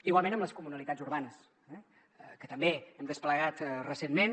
igualment amb les comunalitats urbanes que també hem desplegat recentment